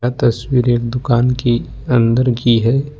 तस्वीर एक दुकान के अंदर की है।